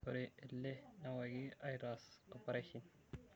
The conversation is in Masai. ore ele neewaki aitaas opareshen